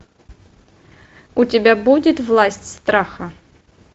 у тебя будет власть страха